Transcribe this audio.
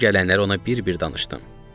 Başıma gələnləri ona bir-bir danışdım.